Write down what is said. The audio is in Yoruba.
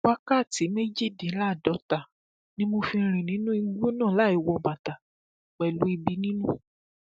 wákàtí méjìdínláàádọta ni mo fi rìn nínú igbó náà láì wọ bàtà pẹlú ẹbí nínú